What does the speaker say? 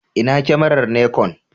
Ina kyamarar Nikon?